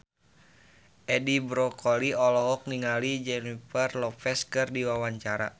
Edi Brokoli olohok ningali Jennifer Lopez keur diwawancara